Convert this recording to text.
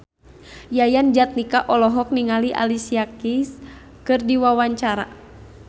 Yayan Jatnika olohok ningali Alicia Keys keur diwawancara